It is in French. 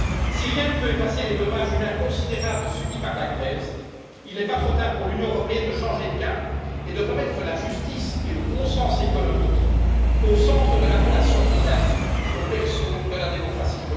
Si rien ne peut effacer les dommages humains considérables subis par la Grèce, il n'est pas trop tard pour que l'Union européenne change de cap et remette la justice et le bon sens économique au centre de la relation qui la lie au berceau de la démocratie.